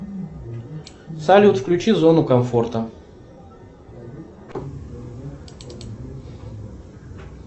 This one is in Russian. салют включи зону комфорта